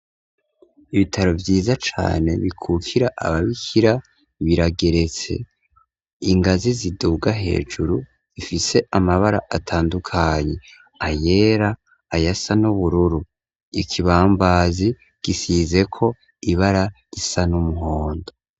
Ibitaro vyiza cane bikukira aba bikira birageretse ,ingazi ziduga hejuru zifise amabara atandukanye ayera ayasa n’ubururu ,ikibambazi gisizeko ibara risa n’umuhondo.